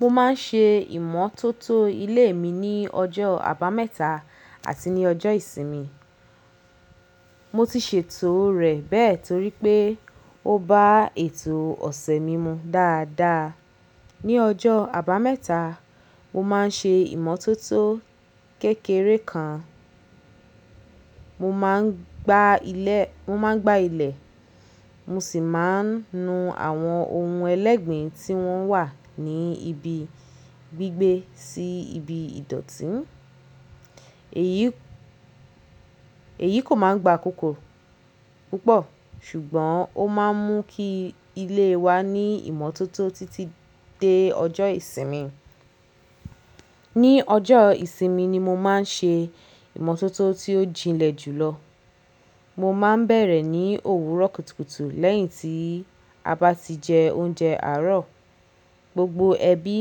Mo máa ń ṣe ìmọ́tótó ilé mi ní ọjọ́ àbámẹ́ta àti ní ọjọ́ ìsinmi. Mo ti ṣètò rẹ̀ bẹ́ẹ̀ torí pé ó bá ètò ọ̀sẹ̀ mi mu dáadáa. Ni ọjọ́ àbámẹ́ta, mo máa ń ṣe ìmọ́tótó kékeré kan. Mo máa ń gbá ilẹ̀, mo sì máa ń nu àwọn ohun ẹlẹ́gbẹ̀ẹ́ tí wọ́n wà ní ibi gbígbé sí ibi ìdọ̀tí. Èyí kò máa ń gba kókó púpọ̀ ṣùgbọ́n ó máa ń mú kí ilé wa ní ìmọ́tótó títí dé ọjọ́ ìsinmi. Ni ọjọ́ ìsinmi ni mo máa ń ṣe ìmọ́tótó tí ó jinlẹ̀ jù lọ. Mo maa n beere ni owuro kutukutu leyin ti aba ti je ounje aro. Gbogbo ẹbí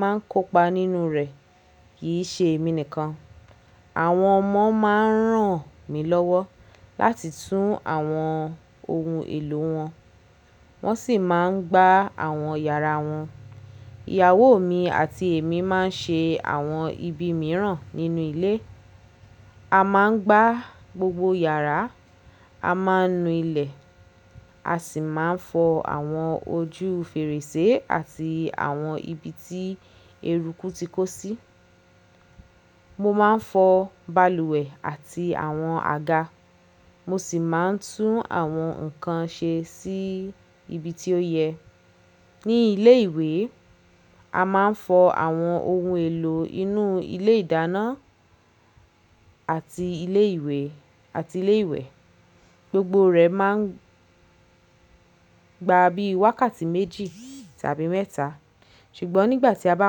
máa ń kópa nínú rẹ̀ kì í ṣe mi nìkan. Àwọn ọmọ máa ń ràn mí lọ́wọ́ láti tún àwọn ohun èlò wọn, wọ́n sì máa ń gbá àwọn yàrá wọn. Ìyàwó mi àti èmi máa ń ṣe àwọn ibi mìíràn nínú ilé. A máa ń gbá gbogbo yàrá, a máa ń nu ilẹ̀, a sì máa ń fọ àwọn ojú fèrèsé àti àwọn ibi tí eruku ti kó sí. Mo máa ń fọ balùwẹ̀ àti àwọn àga, mo sì máa ń tún àwọn nǹkan ṣe sí ibi tí ó yẹ. Ni ilé ìwé, a máa ń fọ àwọn ohun èlò inú ilé ìdáná àti ilé ìwẹ̀. Gbogbo rẹ̀ máa ń gba bí i wákàtí méjì tàbí mẹ́ta, ṣùgbọ́n nígbà tí a bá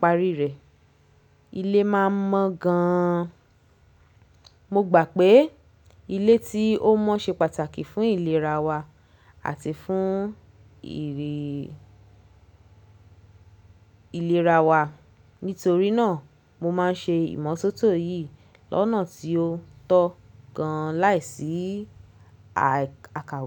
parí rẹ̀, ilé máa mọ́ gan-an. Mo gbà pé ilé tí ó mọ́ ṣe pàtàkì fún ìlera wa àti fún ìri ìlera wa. Nítorí náà mo máa ń ṣe ìmọ́tótó yìí lọ́nà tí ó tọ́ gan-an láìsí àkàwé.